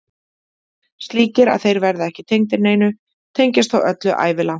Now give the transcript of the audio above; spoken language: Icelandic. Slíkir að þeir verða ekki tengdir neinu, tengjast þó öllu, ævilangt.